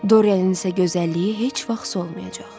Doryanın isə gözəlliyi heç vaxt solmayacaq.